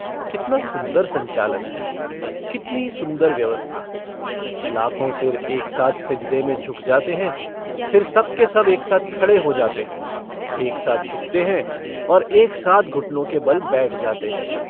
कितना सुन्दर संचालन है! कितनी सुन्दर व्यवस्था! लाखों सिर एक साथ सिजदे में झुक जाते हैं फिर सब के सब एक साथ खड़े हो जाते हैं एक साथ झुकते हैं और एक साथ घुटनों के बल बैठ जाते हैं।